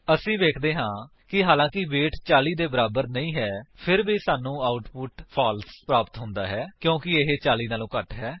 ਅਸੀ ਵੇਖਦੇ ਹਾਂ ਕਿ ਹਾਲਾਂਕਿ ਵੇਟ 40 ਦੇ ਬਰਾਬਰ ਨਹੀਂ ਹੈ ਫਿਰ ਵੀ ਸਾਨੂੰ ਆਉਟਪੁਟ ਫਾਲਸ ਪ੍ਰਾਪਤ ਹੁੰਦਾ ਹੈ ਕਿਉਂਕਿ ਇਹ 40 ਵਲੋਂ ਘੱਟ ਹੈ